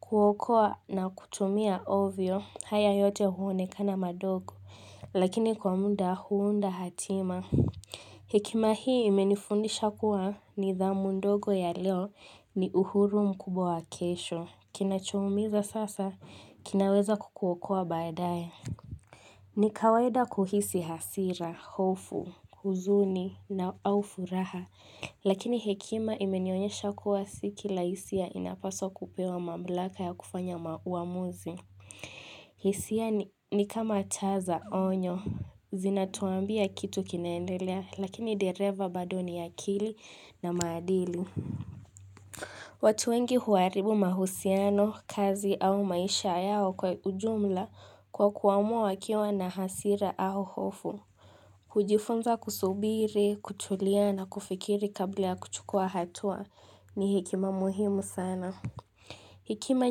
kuokoa na kutumia ovyo, haya yote huonekana madogo. Lakini kwa muda huunda hatima. Hekima hii imenifundisha kuwa nidhamu ndogo ya leo ni uhuru mkubwa wa kesho. Kinachoumiza sasa, kinaweza kukuokoa baadae. Ni kawaida kuhisi hasira, hofu, huzuni na au furaha. Lakini hekima imenionyesha kuwa si kila hisia inapaswa kupewa mamlaka ya kufanya ma uamuzi. Hisia ni kama taa za onyo, zinatuambia kitu kinaendelea, lakini dereva bado ni akili na maadili. Watu wengi huharibu mahusiano, kazi au maisha yao kwa ujumla kwa kuamua wakiwa na hasira au hofu. Kujifunza kusubiri, kutulia na kufikiri kabla ya kuchukua hatua ni hekima muhimu sana Hekima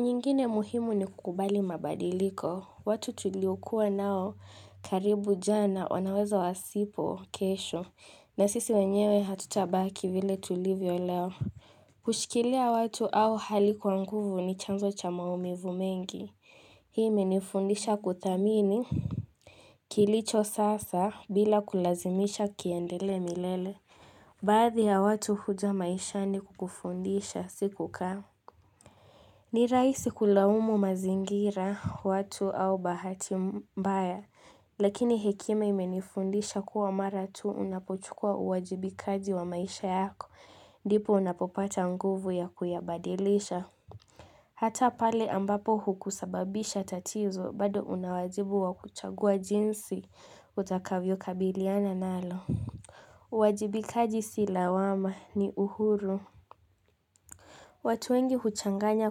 nyingine muhimu ni kukubali mabadiliko watu tuliokuwa nao karibu jana wanaweza wasipo kesho na sisi wenyewe hatutabaki vile tulivyo leo Kushikilia watu au hali kwa nguvu ni chanzo cha maumivu mengi Hii imenifundisha kudhamini Kilicho sasa bila kulazimisha kiendelee milele. Baadhi ya watu huja maishani kukufundisha sikukaa. Ni rahisi kulaumu mazingira watu au bahati mbaya. Lakini hekima imenifundisha kuwa mara tu unapochukua uwajibikaji wa maisha yako. Ndipo unapopata nguvu ya kuyabadilisha. Hata pale ambapo hukusababisha tatizo bado unawajibu wa kuchagua jinsi utakavyo kabiliana nalo. Uwajibikaji si lawama ni uhuru. Watu wengi huchanganya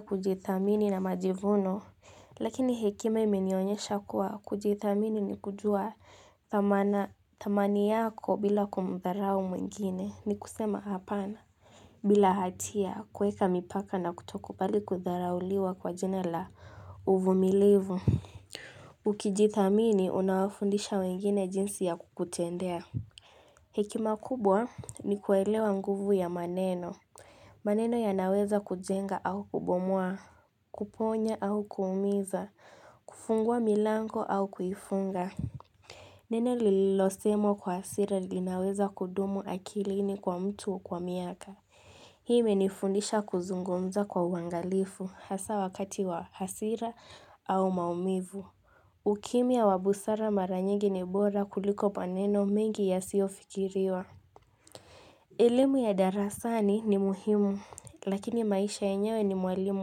kujithamini na majivuno. Lakini hekima imenionyesha kuwa kujithamini ni kujua thamana thamani yako bila kumudharau mwingine ni kusema hapana. Bila hatia kuweka mipaka na kutokubali kutharauliwa kwa jina la uvumilivu Ukijithamini unawafundisha wengine jinsi ya kukutendea Hekima kubwa nikuelewa nguvu ya maneno maneno yanaweza kujenga au kubomoa Kuponya au kuumiza kufungua milango au kuifunga Neno lililosemwa kwa hasiri linaweza kudumu akilini kwa mtu kwa miaka Hii imenifundisha kuzungumza kwa uwangalifu hasa wakati wa hasira au maumivu ukimya wa busara mara nyingi ni bora kuliko maneno mengi yasiyofikiriwa elimu ya darasani ni muhimu lakini maisha yenyewe ni mwalimu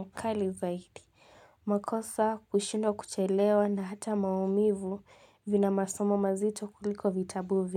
mkali zaidi makosa kushindwa kuchelewa na hata maumivu vina masomo mazito kuliko vitabu vingi.